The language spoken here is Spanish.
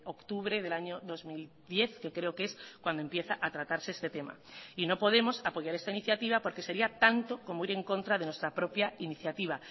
octubre del año dos mil diez que creo que es cuando empieza a tratarse este tema y no podemos apoyar esta iniciativa porque sería tanto como ir en contra de nuestra propia iniciativa